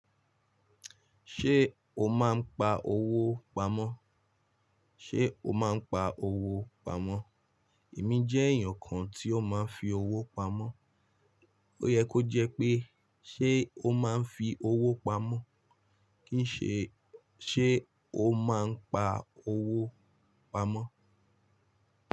Ṣé o máa ń pa owó pamọ́? Ṣé o máa ń pa owó pamọ́? Èmi jẹ́ èèyàn kan tí ó máa ń fi owó pamọ́. Ó yẹ kó jẹ́ pé, ṣe ó máa ń fi owó pamọ́? Kìí ṣe, ṣe ó máa ń pa owó pamọ́?